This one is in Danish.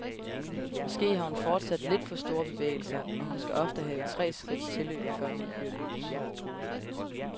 Måske har hun fortsat lidt for store bevægelser, og hun skal ofte have tre skridts tilløb, før hun fyrer løs.